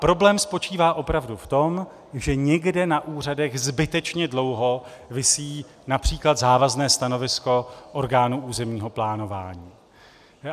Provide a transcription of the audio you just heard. Problém spočítá opravdu v tom, že někde na úřadech zbytečně dlouho visí například závazné stanovisko orgánu územního plánování.